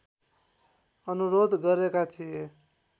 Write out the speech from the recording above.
अनुरोध गरेका थिए